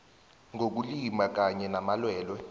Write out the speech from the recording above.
ngokulimala kanye namalwelwe